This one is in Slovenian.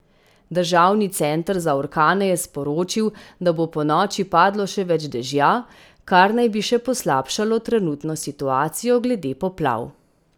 Državni center za orkane je sporočil, da bo ponoči padlo še več dežja, kar naj bi še poslabšalo trenutno situacijo glede poplav.